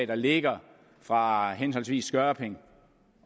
der ligger fra henholdsvis skørping